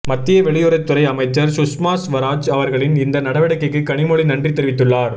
மத்திய வெளியுறவுத்துறை அமைச்சர் சுஷ்மாஸ்வராஜ் அவர்களின் இந்த நடவடிக்கைக்கு கனிமொழி நன்றி தெரிவித்துள்ளார்